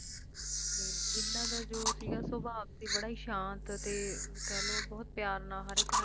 ਇਨ੍ਹਾਂ ਦਾ ਜੋ ਸੀਗਾ ਸੁਭਾਅ ਕਹਿ ਲੋ ਬਹੁਤ ਪਿਆਰ ਨਾਲ ਹਰ ਇੱਕ ਨਾਲ ਗੱਲ ਕਰਦੇ ਸਨ